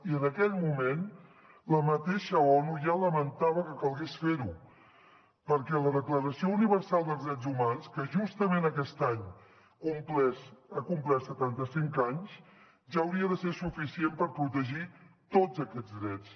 i en aquell moment la mateixa onu ja lamentava que calgués fer ho perquè la declaració universal dels drets humans que justament aquest any ha complert setanta cinc anys ja hauria de ser suficient per protegir tots aquests drets